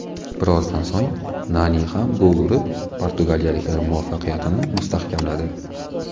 Birozdan so‘ng Nani ham gol urib, portugaliyaliklar muvaffaqiyatini mustahkamladi.